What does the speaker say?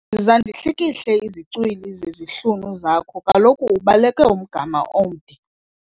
Yiza ndihlikihle izicwili zezihlunu zakho kaloku ubaleke umgama omde kakhulu.